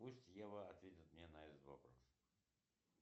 пусть ева ответит мне на этот вопрос